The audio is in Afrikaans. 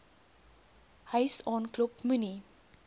huis aanklop moenie